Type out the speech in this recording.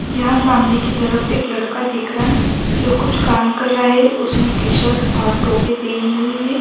یہاں سامنے کی طرف ایک لڑکا دیکھ رہا جو کچھ کام کر رہا ہے۔ اسنے ٹ-شرط اور ٹوپی پہنی ہوئی ہے۔